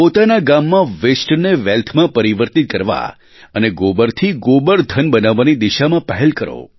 પોતાના ગામમાં wasteને wealthમાં પરિવર્તિત કરવા અને ગોબરથી ગોબરધન બનાવવાની દિશામાં પહેલ કરો